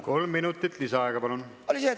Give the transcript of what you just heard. Kolm minutit lisaaega, palun!